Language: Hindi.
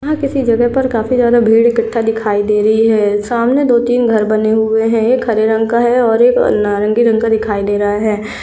यहा किसी जगह पर काफी ज्यादा भीड़ इकठ्ठा दिखाई दे रही है सामने दो-तीन घर बने हुवे है एक हरे रंग का और एक नारंगी रंग का दिखाई दे रहा है।